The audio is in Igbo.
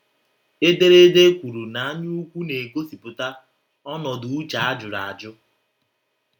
Ederede kwuru na anyaukwu na - egosipụta “ ọnọdụ uche a jụrụ ajụ. ”